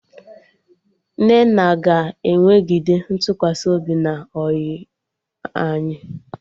Nnenna ga-enwegide ntụkwasị obi na ọyị anyị